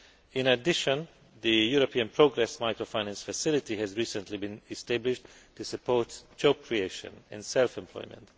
In addition, the European Progress Microfinance Facility has recently been established to support job creation and self employment.